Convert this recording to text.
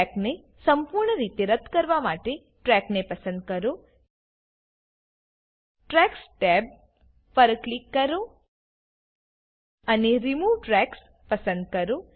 ટ્રેકને સંપૂર્ણરીતે રદ્દ કરવા માટે ટ્રેકને પસંદ કરો ટ્રેક્સ ટેબ પર ક્લિક કરો અને રિમૂવ ટ્રેક્સ પસંદ કરો